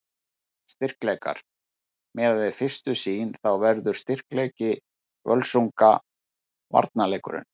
Styrkleikar: Miðað við fyrstu sýn þá verður styrkleiki Völsunga varnarleikurinn.